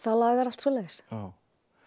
lagar allt svoleiðis